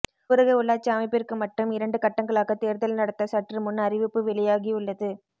ஊரக உள்ளாட்சி அமைப்பிற்கு மட்டும் இரண்டு கட்டங்களாக தேர்தல் நடத்த சற்று முன் அறிவிப்பு வெளியாகியுள்ளது